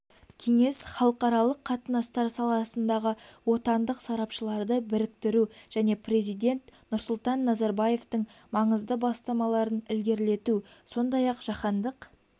кеңес халықаралық қатынастар саласындағы отандық сарапшыларды біріктіру және президент нұрсұлтан назарбаевтың маңызды бастамаларын ілгерілету сондай-ақ жаһандық